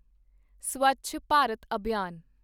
ਸਵੱਛ Bharat ਅਭਿਆਨ